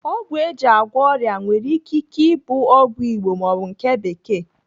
Ọgwụ eji agwọ ọrịa nwere ike ike ịbụ ọgwụ Igbo maọbụ nke bekee.